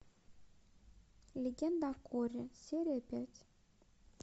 легенда о корре серия пять